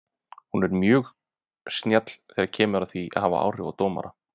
Hann er mjög snjall þegar kemur að því að hafa áhrif á dómara.